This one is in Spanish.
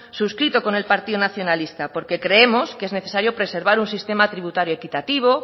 suscrito con el partido nacionalista porque creemos que es necesario preservar un sistema tributario equitativo